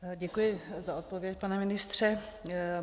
Děkuji za odpověď, pane ministře.